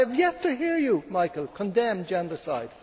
I have yet to hear you, Michael, condemn gendercide.